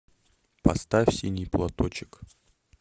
поставь синий платочек